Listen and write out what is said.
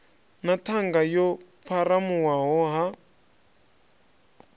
na ṱhanga yo pharuwaho ha